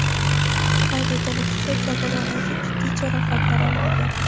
Qayd etilishicha, jabrlanuvchi jiddiy jarohatlar olmagan.